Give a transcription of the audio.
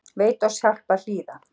Veit oss hjálp að hlýða